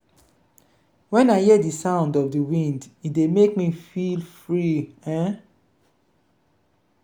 wen i hear di sound of di wind e dey make me feel free. um